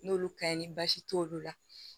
N'olu ka ɲi ni basi t'olu la